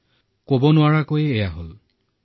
তালৈ লৈ জানিনাজানি এয়া হৈ গল